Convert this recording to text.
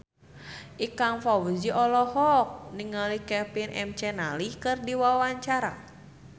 Ikang Fawzi olohok ningali Kevin McNally keur diwawancara